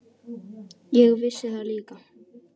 Ég vissi það líka.